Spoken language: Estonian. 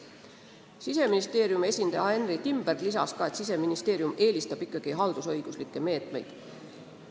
Siseministeeriumi esindaja Henry Timberg lisas, et Siseministeerium eelistab kindlasti haldusõiguslikke meetmeid.